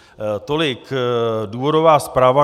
Tolik důvodová zpráva.